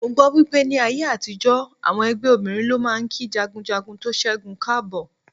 Mo gbọ́ wípé ní ayé àtijó, àwọn ẹgbẹ́ obìnrin ló máa ń kí jagunjagun tó ṣẹ́gun káàbọ̀.